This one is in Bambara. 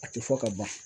A tɛ fɔ ka ban